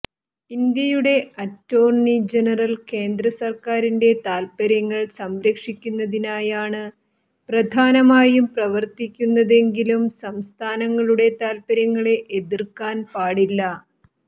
ഇന്ത്യയുടെ attorney general കേന്ദ്ര സർക്കാറിന്റെ താൽപ്പര്യങ്ങൾ സംരക്ഷിക്കുന്നതിനായാണ് പ്രധാനമായും പ്രവർത്തിക്കുന്നത് എങ്കിലും സംസ്ഥാനങ്ങളുടെ താൽപ്പര്യങ്ങളെ എതിർക്കാൻ പാടില്ല